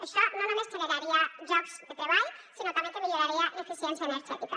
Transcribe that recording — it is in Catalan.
això no només generaria llocs de treball sinó que també milloraria l’eficiència energètica